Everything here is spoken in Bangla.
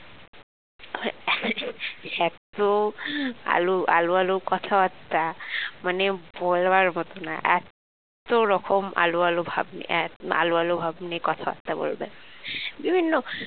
এত আলু আলু আলু কথাবার্তা মানে বলবার মতো না এত রকম আলু আলু ভাব নিয়ে এত আলু আলু ভাব নিয়ে কথাবার্তা বলবে বিভিন্ন